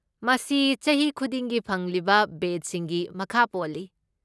ꯃꯁꯤ ꯆꯍꯤ ꯈꯨꯗꯤꯡꯒꯤ ꯐꯪꯂꯤꯕ ꯕꯦꯆꯁꯤꯡꯒꯤ ꯃꯈꯥ ꯄꯣꯜꯂꯤ꯫